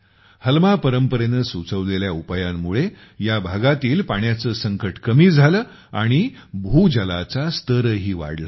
हलमा परंपरेने सुचवलेल्या उपायांमुळे ह्या भागातील पाण्याचे संकट कमी झाले आणि भूजलाचा स्तरही वाढला